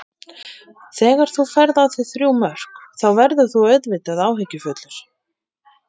Þegar þú færð á þig þrjú mörk þá verður þú auðvitað áhyggjufullur.